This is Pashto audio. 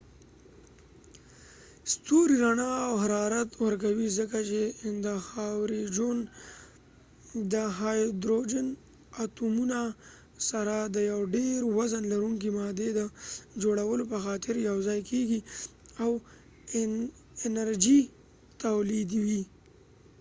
ستوری رنا او حرارت ورکوي ځکه چې د هایدروجن اتومونه سره د یو ډیر وزن لرونکې مادي د جوړولو په خاطر یو ځای کېږی او انرژی تولیدوي